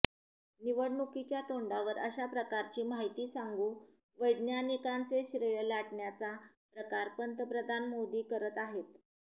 निवडणुकीच्या तोंडावर अशा प्रकारची माहिती सांगू वैज्ञानिकांचे श्रेय लाटण्याचा प्रकार पंतप्रधान मोदी करत आहेत